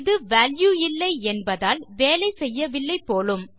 இது வால்யூ இல்லை என்பதால் வேலை செய்யவில்லை போலும்